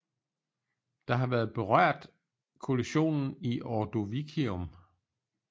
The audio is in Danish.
Der har været berørt af kollisionen i ordovicium